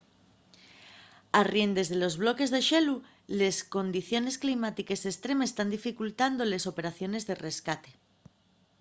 arriendes de los bloques de xelu les condiciones climátiques estremes tán dificultando les operaciones de rescate